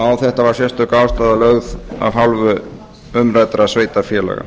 á þetta var sérstök ástæða lögð af hálfu umræddra sveitarfélaga